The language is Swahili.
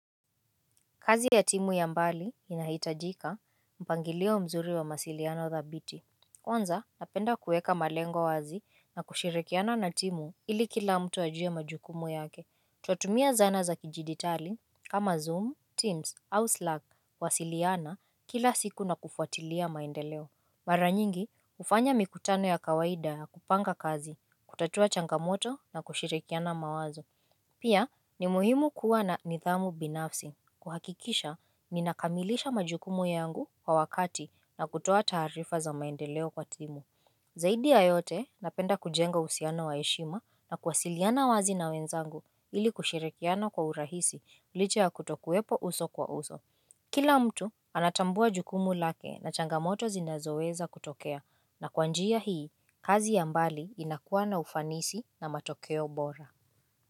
Kazi ya timu ya mbali inahitajika mpangilio mzuri wa masiliano dhabiti Kwanza napenda kuweka malengo wazi na kushirikiana na timu ili kila mtu ajuwe majukumu yake Twatumia zana za kijidigitali kama Zoom, Teams au Slack wa siliana kila siku na kufuatilia maendeleo Mara nyingi ufanya mikutano ya kawaida ya kupanga kazi, kutatua changamoto na kushirikiana mawazo Pia ni muhimu kuwa na nidhamu binafsi kuhakikisha ninakamilisha majukumu yangu kwa wakati na kutoa tarifa za maendeleo kwa timu Zaidi ya yote napenda kujenga uhusiano wa heshima na kuasiliana wazi na wenzangu ili kushirikiano kwa urahisi lisha ya kutokuwepo uso kwa uso Kila mtu anatambua jukumu lake na changamoto zinazoweza kutokea na kwanjia hii kazi ya mbali inakuwa na ufanisi na matokeo bora.